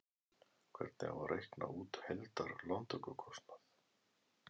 Hvernig á að reikna út heildar lántökukostnað?